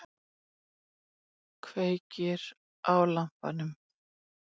Kveikir á lampanum.